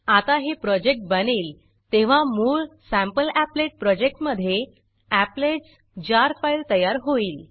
आता हे प्रोजेक्ट बनेल तेव्हा मूळ सॅम्पलीपलेट सॅम्पल अपलेट प्रोजेक्ट मधे applets jar applets jar file तयार होईल